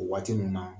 O waati ninnu na